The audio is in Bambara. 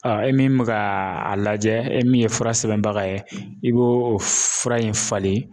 e min mɛ ka a lajɛ e min ye fura sɛbɛnbaga ye i b'o fura in falen